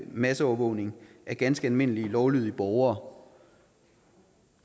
masseovervågning af ganske almindelige lovlydige borgere